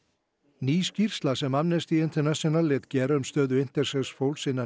ný skýrsla sem Amnesty International lét gera um stöðu intersex fólks innan